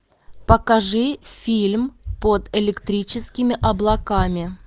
покажи фильм под электрическими облаками